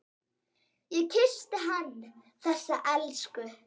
Ég kyssti hann, þessa elsku.